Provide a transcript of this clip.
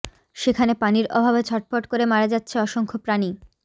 সেখানে পানির অভাবে ছটফট করে মারা যাচ্ছে অসংখ্য প্রাণী